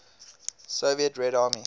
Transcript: soviet red army